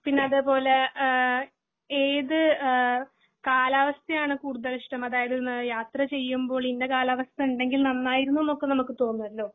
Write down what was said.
പിന്നെ അതേപോലെ ആഹ് ഏത് ആഹ് കാലാവസ്ഥ ആണ് കൂടുതൽ ഇഷ്ടം അതായത് യാത്ര ചെയ്യുമ്പോൾ ഇന്ന കാലാവസ്ഥ ഇണ്ടെങ്കിൽ നന്നായിരുന്നു എന്നൊക്കെ നമ്മക് തോനോലോ